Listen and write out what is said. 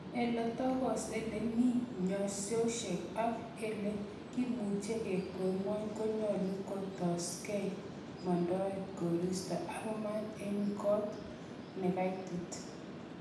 Ele tokos, ele mi nyanyosiek ak ele kimuche kikwer ngwony konyolu kistoenge, ele mondoen koristo ak maat en got nekaitit.